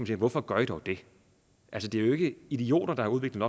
sige hvorfor gør i dog det altså det er jo ikke idioter der har udviklet